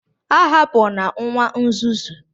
A hapụna nwa nzuzu